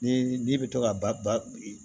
Ni n'i bɛ to ka ba